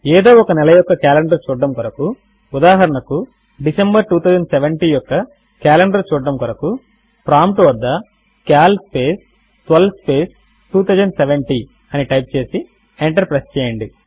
ఏదో ఒక నెల యొక్క కాలెండర్ చూడడము కొరకు ఉదాహరణకు డిసెంబర్ 2070 యొక్క కాలెండర్ చూడడము కొరకు ప్రాంప్ట్ వద్ద సీఏఎల్ స్పేస్ 12 స్పేస్ 2070 అని టైప్ చేసి ఎంటర్ ప్రెస్ చేయండి